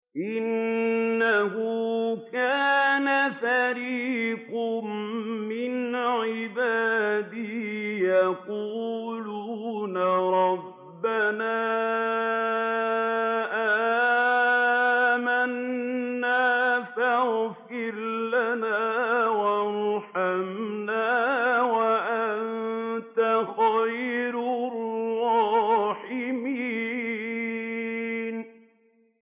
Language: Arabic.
إِنَّهُ كَانَ فَرِيقٌ مِّنْ عِبَادِي يَقُولُونَ رَبَّنَا آمَنَّا فَاغْفِرْ لَنَا وَارْحَمْنَا وَأَنتَ خَيْرُ الرَّاحِمِينَ